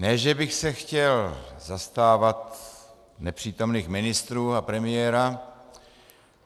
Ne že bych se chtěl zastávat nepřítomných ministrů a premiéra.